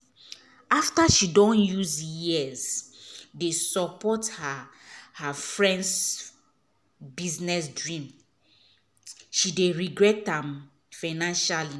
after she don use years dey support her her friends business dream she dey regret am financially.